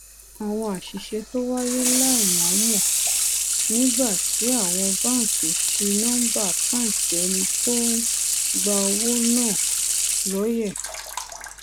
àwọn àṣìṣe tó wáyé láìmòómò nígbà tí àwọn báńkì ṣi nóńbà àkáǹtì ẹni tó ń gba owó náà lóye